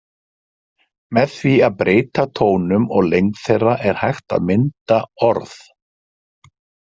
Með því að breyta tónum og lengd þeirra er hægt að mynda orð.